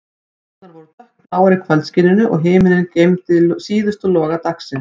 Hæðirnar voru dökkbláar í kvöldskininu, og himinninn geymdi síðustu loga dagsins.